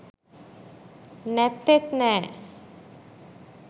නැත්තෙත් නෑ